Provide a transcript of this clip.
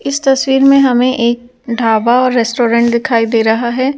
इस तस्वीर में हमें एक ढाबा और रेस्टोरेंट दिखाई दे रहा है ।